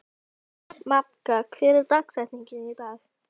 Magda, hver er dagsetningin í dag?